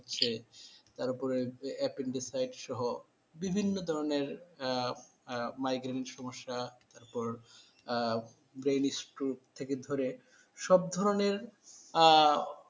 হচ্ছে তারপরে যে apendicite সহ বিভিন্ন ধরনের অ আ অ migraine সমস্যা তারপর আহ brain stroke থেকে ধরে সব ধরনের আহ